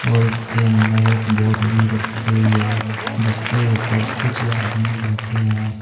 और इसके अंदर एक बोट भी रखी हुई है जिसके ऊपर कुछ आदमी बैठे हैं।